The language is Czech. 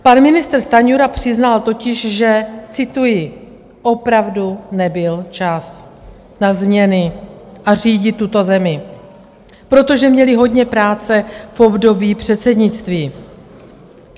Pan ministr Stanjura přiznal totiž, že, cituji: Opravdu nebyl čas na změny a řídit tuto zemi, protože měli hodně práce v období předsednictví.